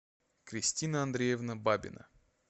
кристина андреевна бабина